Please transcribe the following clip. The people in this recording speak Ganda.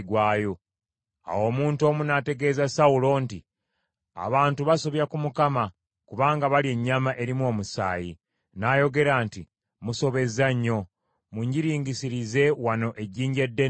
Awo omuntu omu n’ategeeza Sawulo nti, “Abantu basobya ku Mukama kubanga balya ennyama erimu omusaayi.” N’ayogera nti, “Musobezza nnyo. Munjiringisirize wano ejjinja eddene kaakano.”